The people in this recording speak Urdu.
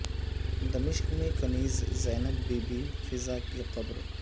دمشق میں کنیز زینب بی بی فضہ کی قبر